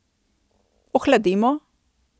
Ohladimo.